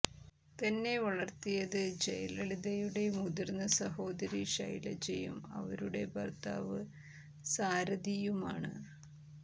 തന്നെ വളര്ത്തിയത് ജയലളിതയുടെ മുതിര്ന്ന സഹോദരി ഷൈലജയും അവരുടെ ഭര്ത്താവ് സാരതിയുമാണ്